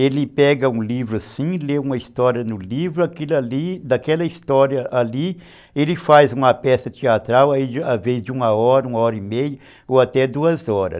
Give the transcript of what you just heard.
Ele pega um livro assim, lê uma história no livro, aquilo ali, daquela história ali ele faz uma peça teatral a vez de uma hora, uma hora e meia ou até duas horas.